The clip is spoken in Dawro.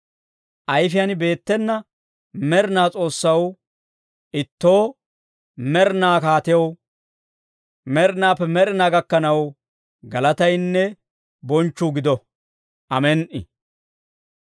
Ayfiyaan beettena med'inaa S'oossaw Ittoo, med'inaa Kaatew, med'inaappe med'inaa gakkanaw galataynne bonchchuu gido. Amen"i!